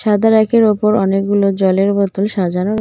সাদা র্যাকের ওপর অনেকগুলো জলের বোতল সাজানো র--